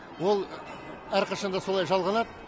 ол әрқашан да солай жалғанады